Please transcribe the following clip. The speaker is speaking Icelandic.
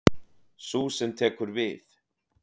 Sú sem tekur við.